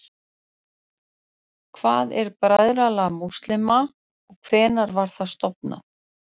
Hvað er Bræðralag múslíma og hvenær var það stofnað?